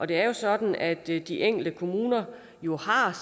det er sådan at de de enkelte kommuner jo